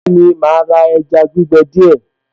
Bẹ́ẹ̀ni màá ra ẹja gbígbẹ díẹ̀